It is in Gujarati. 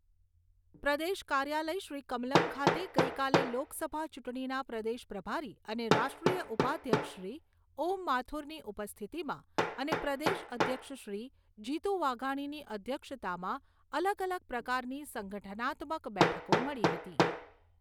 પ્રદેશ કાર્યાલય શ્રી કમલમ્ ખાતે ગઈકાલે લોકસભા ચૂંટણીના પ્રદેશ પ્રભારી અને રાષ્ટ્રીય ઉપાધ્યક્ષશ્રી ઓમ માથુરની ઉપસ્થિતિમાં અને પ્રદેશ અધ્યક્ષશ્રી જીતુ વાઘાણીની અધ્યક્ષતામાં અલગ અલગ પ્રકારની સંગઠનાત્મક બેઠકો મળી હતી.